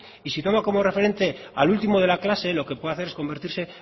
y si tomo como referente al último de la clase lo que puede hacer es convertirse